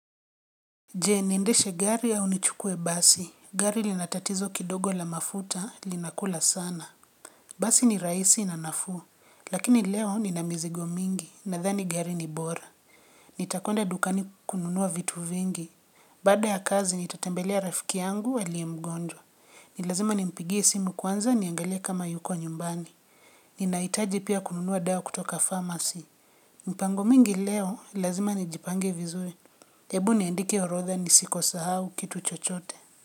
Je, niendeshe gari au nichukue basi. Gari lina tatizo kidogo la mafuta, lina kula sana. Basi ni raisi na nafuu. Lakini leo nina mizigo mingi, nadhani gari ni bora. Nitakwenda dukani kununua vitu vingi. Baada ya kazi, nitatembelea rafiki yangu aliye mgonjwa. Ni lazima nimpigie simu kwanza niangalie kama yuko nyumbani. Nina hitaji pia kununua dawa kutoka pharmacy. Mpango mingi leo, lazima ni jipange vizuri. Ebu niandike orodha nisiko sahau kitu chochote.